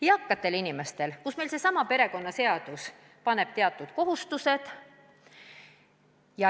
Eakate inimeste lastele paneb seesama perekonnaseadus teatud kohustused.